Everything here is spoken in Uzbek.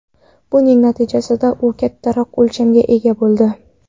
Buning natijasida u kattaroq o‘lchamga ega bo‘ldi.